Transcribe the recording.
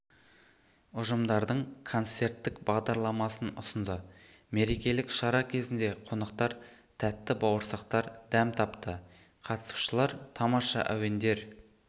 ұжымдардың концерттік бағдарламасын ұсынды мерекелік шара кезінде қонақтар тәтті бауырсақтар дәм тапты қатысушылар тамаша әуендер